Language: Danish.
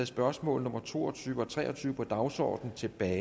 spørgsmål nummer to og tyve og tre og tyve på dagsordenen tilbage